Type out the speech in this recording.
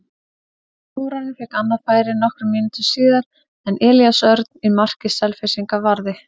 Þórarinn fékk annað færi nokkrum mínútum síðar en Elías Örn í marki Selfyssinga varði.